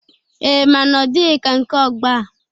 Ee, mana ọ dịghi ka nke ọgbọ a.